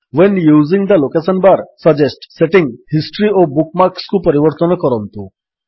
when using the location bar suggest setting history ଓ ବୁକ୍ ମାର୍କ୍ସକୁ ପରିବର୍ତ୍ତନ କରନ୍ତୁ